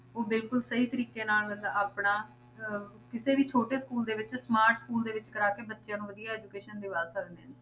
ਉਹ ਬਿਲਕੁਲ ਸਹੀ ਤਰੀਕੇ ਨਾਲ ਤਾਂ ਆਪਣਾ ਅਹ ਕਿਸੇ ਵੀ ਛੋਟੇ school ਦੇ ਵਿੱਚ smart school ਦੇ ਵਿੱਚ ਕਰਵਾ ਕੇ ਬੱਚਿਆਂ ਨੂੰ ਵਧੀਆ education ਦਿਵਾ ਸਕਦੇ ਨੇ,